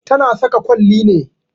Ta na saka kwalli ne